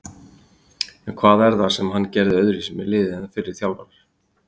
En hvað er það sem hann gerði öðruvísi með liðið en fyrri þjálfarar?